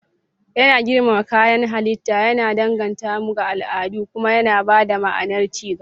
Yana girmama kayan halitta, yana danganta mu ga al'adu, kuma yana ba da ma'anar ci gaba.